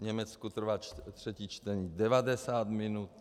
V Německu trvá třetí čtení 90 minut.